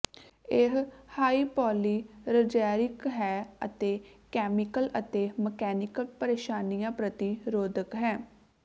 ਇਹ ਹਾਈਪੋਲੀਰਜੈਰਿਕ ਹੈ ਅਤੇ ਕੈਮੀਕਲ ਅਤੇ ਮਕੈਨੀਕਲ ਪਰੇਸ਼ਾਨੀਆਂ ਪ੍ਰਤੀ ਰੋਧਕ ਹੈ